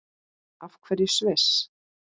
Af hverju Sviss?